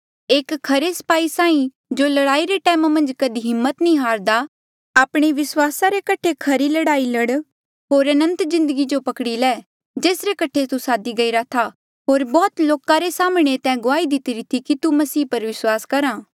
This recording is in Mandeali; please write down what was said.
एक खरे स्पाही साहीं जो लड़ाई रे टैम कधी हिम्मत नी हारदा आपणे विस्वासा रे कठे खरी लड़ाई कर होर अनंत जिन्दगी जो पकड़ी ले जेसरे कठे तू सादी गईरा था होर बौह्त लोका रे साम्हणें तैं गुआही दितीरी थी कि तू मसीह पर विस्वास करा